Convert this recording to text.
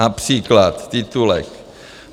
Například titulek.